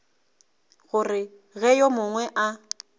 gore ge yo mongwe a